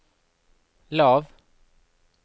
lav